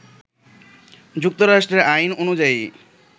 যুক্তরাষ্ট্রের আইন অনুযায়ী,